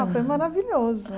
Ah, foi maravilhoso.